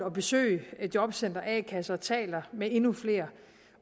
at besøge jobcentre a kasser taler med endnu flere